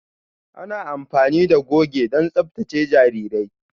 Ana amfani da goge don tsaftace jarirai.